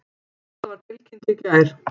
Þetta var tilkynnt í gær